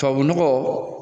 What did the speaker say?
Tubabu nɔgɔ